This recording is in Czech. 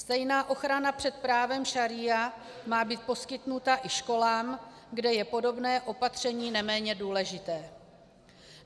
Stejná ochrana před právem šaría má být poskytnuta i školám, kde je podobné opatření neméně důležité.